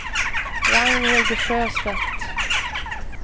Ragnhild Sjöstedt